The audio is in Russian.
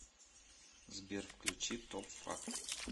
сбер включи топ факт